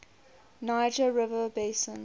niger river basin